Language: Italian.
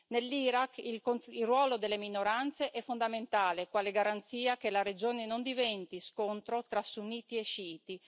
Nell'Iraq il ruolo delle minoranze è fondamentale, quale garanzia che la regione non diventi scontro tra sunniti e sciiti.